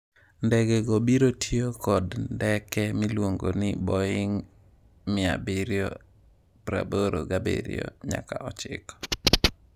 Ndege go biro tiyo kod ndeke miluongo ni Boeing 787-9.